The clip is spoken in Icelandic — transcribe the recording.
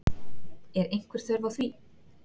Er einhver þörf á því?